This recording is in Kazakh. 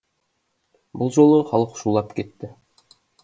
бұл жолы халық шулап кетті